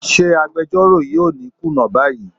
Ṣé agbejọ́rò yìí ò ní kùnà báyìí?